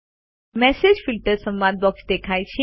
message filters સંવાદ box દેખાય છે